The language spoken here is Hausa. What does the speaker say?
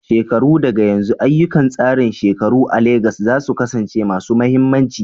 Shekaru daga yanzu, ayyukan tsarin shekaru a Legas za su kasance masu mahimmanci.